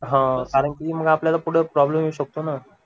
हा कारण की मग आपल्याला पुढ प्रॉब्लेम येऊ शकतो ना